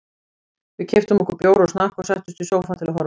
Við keyptum okkur bjór og snakk og settumst í sófann til að horfa.